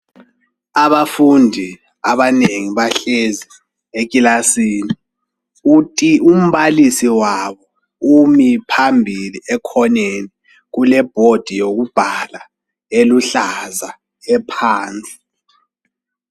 Abafundi abanengi bahlezi ekilasini uti umbalisi wabo umi phambili ekhoneni kule"board " yokubhala eluhlaza ephansi.